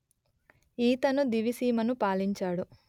ఈతను దివిసీమను పాలించాడు